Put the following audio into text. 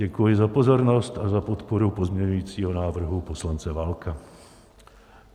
Děkuji za pozornost a za podporu pozměňovacího návrhu poslance Válka.